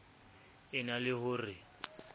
e na le ho re